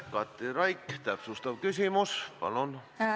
Katri Raik, täpsustav küsimus, palun!